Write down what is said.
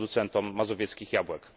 producentom mazowieckich jabłek.